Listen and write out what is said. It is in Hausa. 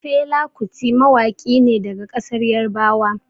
Fela Kuti mawaƙi ne daga ƙasar Yarbawa.